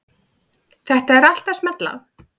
Þetta er allt að smella.